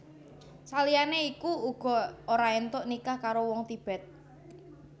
Saliyane iku uga ora entuk nikah karo wong Tibet